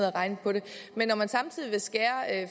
regnede på det men når man samtidig vil skære